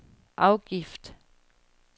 afgift